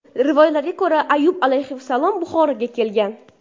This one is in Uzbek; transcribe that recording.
Rivoyatlarga ko‘ra, Ayyub alayhissalom Buxoroga kelgan.